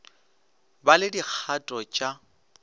ba le dikgato t a